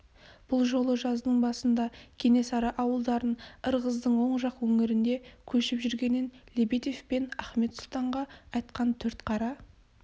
бұ жолы жаздың басында кенесары ауылдарын ырғыздың оң жақ өңірінде көшіп жүргенін лебедев пен ахмет сұлтанға айтқан төртқара